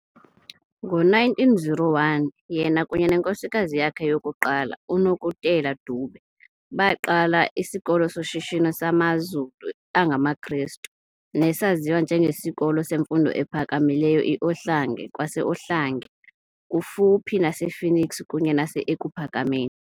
Ngo-1901 yena kunye nenkosikazi yakhe yokuqala, uNokutela Dube, baqala isikolo soshishino samaZulu angamaKrestu, nesaziwa nje ngesiKolo semfundo ephakamileyo i-Ohlange kwase-Ohlange, kufuphi nasePhoenix kunye nasEkuPhakameni.